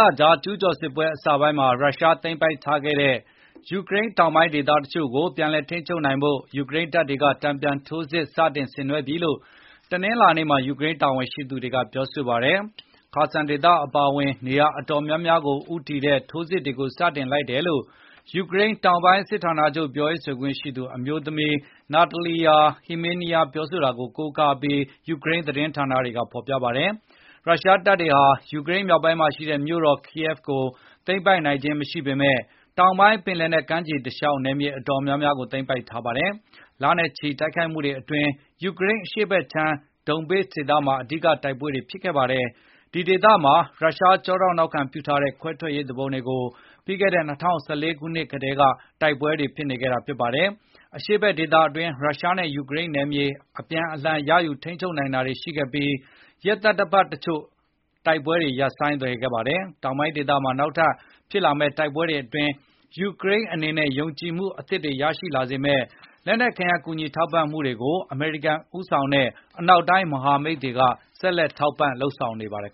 လကြာ ကျုးကျော်စစ်ပွဲအစပိုင်းမှာ ရုရှားသိမ်းပိုက်ထားတဲ့ ယူကရိန်းတောင်ပိုင်း ဒေသတွေကို ပြန်လည် ထိန်းချုပ်နိုင်ဖို့ ယူကရိန်းတပ်တွေက တန်ပြန်ထိုးစစ် စတင်ဆင်နွဲှပြီလို့ တနင်္လာနေ့မှာ ယူကရိန်းတာဝန်ရှိသူတွေက ပြောဆိုလိုက်ပါတယ်။ Kherson ဒေသအပါအဝင် နေရာအတော်များများကို ဦးတည်တဲ့ ထိုးစစ်ကို စတင်လိုက်တယ်လို့ ယူကရိန်းတောင်ပိုင်း စစ်ဌာနချုပ် ပြောရေးဆိုခွင့်ရှိသူ အမျိုးသမီး Natalia Humeniuk ပြောဆိုတာကို ကိုးကားပြီး ယူကရိန်း သတင်းဌာနတွေ ကဖေါ်ပြပါတယ်။ ရုရှားတပ်တွေဟာ ယူကရိန်းမြောက်ပိုင်းမှာရှိတဲ့ မြို့တော် Kyiv ကို သိမ်းပိုက်နိုင်ခြင်းမရှိပေမယ့် တောင်ပိုင်း ပင်လယ်နက်ကမ်းခြေတလျှောက်က နယ်မြေအတော်များများကို သိမ်ပိုက်ထားပါတယ်။ လနဲ့ချီတဲ့ တိုက်ခိုက်မှုတွေ အတွင်း ယူကရိန်းအရှေ့ဖက်ခြမ်းက Donbas ဒေသမှာ အဓိက တိုက်ပွဲတွေ ဖြစ်ခဲ့ပါတယ်။ ဒီဒေသမှာ ရုရှား ကျောထောက်နောက်ခံပြုထားတဲ့ ခွဲထွက်ရေး သူပုန်တွေရှိပြီး ၂၀၁၄ ခုနှစ်ကတည်းက တိုက်ပွဲတွေ ဖြစ်နေခဲ့တာပါ။ အရှေ့ဖက်ဒေသအတွင်း ရုရှားနဲ့ ယူကရိန်း နယ်မြေ အပြန်အလှန် ရယူထိန်းချုပ်နိုင်တာတွေ ရှိခဲ့ပြီး ရက်သတ္တပတ်အချို့ တိုက်ပွဲတွေ ရပ်ဆိုင်းသွားပါတယ်။ တောင်ပိုင်းဒေသမှာ နောက်ထပ်ဖြစ်လာမယ့် တိုက်ပွဲတွေ အတွင်း ယူကရိန်းအနေနဲ့ ယုံကြည်မှု အသစ်တွေ ရရှိလာစေမယ့် လက်နက်ခဲယမ်း ကူညီထောက်ပံ့မှုတွေကို အမေရိကန်ဦးဆောင်တဲ့ အနောက်တိုင်း မဟာမိတ်တွေနဲ့ ဆက်လက် လုပ်ဆောင်နေပါတယ်